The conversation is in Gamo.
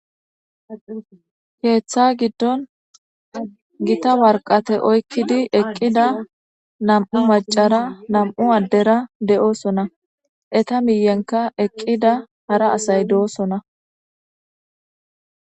heeththa giddon gita warqate oykkidi eqqida nam7u macara nam7u addera de7oosona eta miyenka eqqida hara asay de7osona